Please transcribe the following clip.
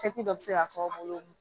dɔ bɛ se ka fɔ aw bolo